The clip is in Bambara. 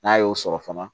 N'a y'o sɔrɔ fana